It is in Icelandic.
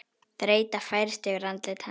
Þreyta færist yfir andlit hans.